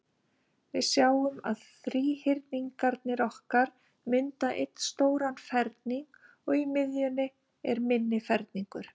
Við sjáum að þríhyrningarnir okkar mynda einn stóran ferning, og í miðjunni er minni ferningur.